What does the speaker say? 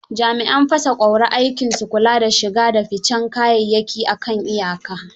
Jami'an fasa ƙwayri aikinsu kula da shige da ficen kayayyayki a kan iyaka.